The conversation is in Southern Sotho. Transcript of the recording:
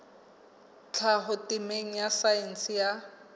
tlhaho temeng ya saense ya